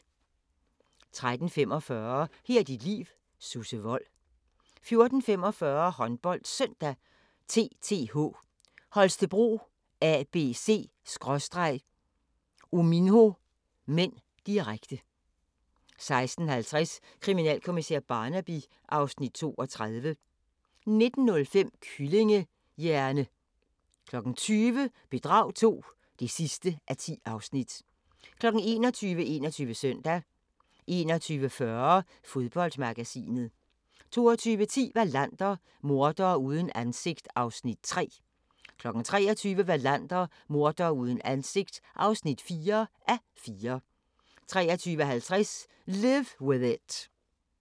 13:45: Her er dit liv: Susse Wold 14:45: HåndboldSøndag: TTH Holstebro-ABC/Uminho (m), direkte 16:50: Kriminalkommissær Barnaby (Afs. 32) 19:05: Kyllingehjerne! 20:00: Bedrag II (10:10) 21:00: 21 Søndag 21:40: Fodboldmagasinet 22:10: Wallander: Mordere uden ansigt (3:4) 23:00: Wallander: Mordere uden ansigt (4:4) 23:50: Live With It